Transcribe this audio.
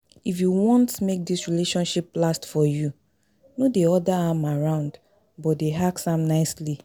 If you want make dis relationship last for you, no dey order am around but dey ask am nicely